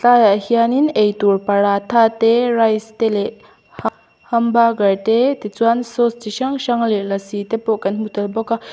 tlaiah hian in eitur paratha te rice te leh hamburger te ti chuan sauce chi hrang hrang leh lassi te pawh kan hmu tel bawk a --